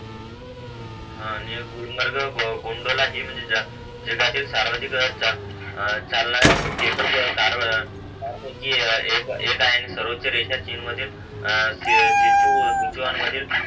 हा आणि गुलमर्ग गोंधला हि जा जगातील सार्वज सार्वजनिक चालणारे त्या पैकी एक एक सर्वोच रेषा चिन्ह मधील ए ए सिचुआनमधील